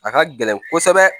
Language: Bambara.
A ka gɛlɛn kosɛbɛ